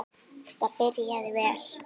Þetta byrjaði vel.